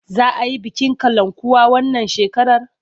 Za a yi bikin kalankuwa wannan shekarar?